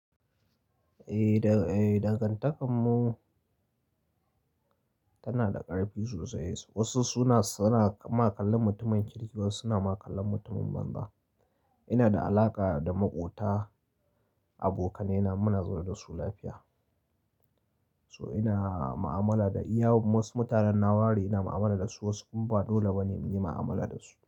Eh, dangantakar mu tana da ƙarfi sosai. Wasu suna ma kallan mutumin kirki, wasu suna makallan mutumin banza. Ina da alaƙa da maƙota, abokanai na, muna zaune da su lafiya. So ina mu'amala da iya wasu mutanen na ware ina mu'amala da su, wasu kuma ba dole ba ne muyi ma'amala da su.